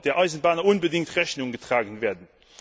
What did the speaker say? der Eisenbahner unbedingt Rechnung getragen werden.